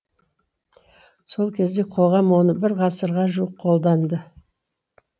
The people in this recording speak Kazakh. сол кезде қоғам оны бір ғасырға жуық қолданды